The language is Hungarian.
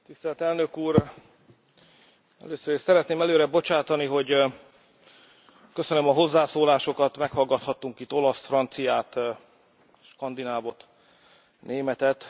Elnök úr, először is szeretném előre bocsátani, hogy köszönöm a hozzászólásokat, meghallgathattunk itt olaszt, franciát, skandinávot, németet.